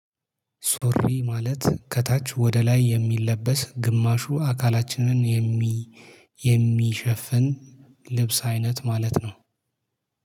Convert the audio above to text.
ሱሪ ማለት ከታች ወደ ላይ የሚለበስ ግማሹ አካላችንን የሚ የሚሸፍን ልብስ አይነት ማለት ነው